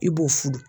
I b'o furu